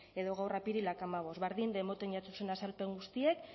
edo gaur apirilak hamabost berdin de emoten jatzuzen azalpen guztiek